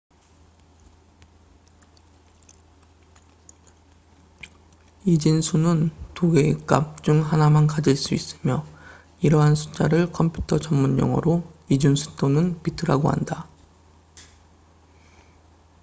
이진수는 두 개의 값즉 0 또는 1 중 하나만 가질 수 있으며 이러한 숫자를 컴퓨터 전문용어로 이진수 또는 비트bits라고 한다